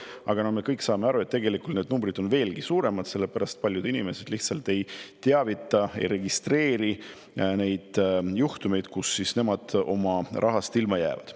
Aga no me kõik saame aru, et tegelikult need numbrid on veelgi suuremad, sellepärast et paljud inimesed lihtsalt ei teavita, ei registreeri neid juhtumeid, kus nad oma rahast ilma jäävad.